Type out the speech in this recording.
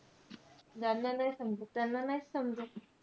ज्यांना नाई समजत त्यांना नाहीच समजत.